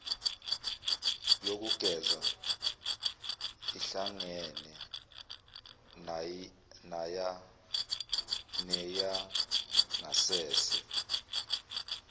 yokugeza ihlangene neyangasese